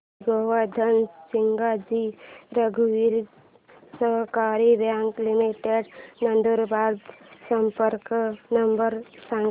श्री गोवर्धन सिंगजी रघुवंशी सहकारी bank limited Nandurbar चा संपर्क नंबर सांगा